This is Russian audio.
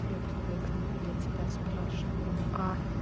я привыкну я тебя спрашиваю а